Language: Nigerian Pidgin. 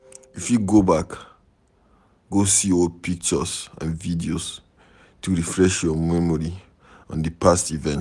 You fit go back go see old pictures and videos to refresh your memory on di past event